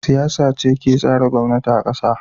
Siyasa ce ke tsara gwamnati a kasa.